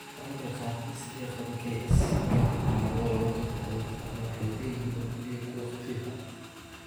Ragga qaarkiis ee qaba KS ma laha calaamado lagu garto cudurka ama waxay leeyihiin oo kaliya kuwo khafiif ah.